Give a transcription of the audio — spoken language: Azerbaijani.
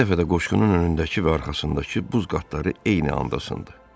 Bir dəfə də qoşqunun önündəki və arxasındakı buz qatları eyni anda sındı.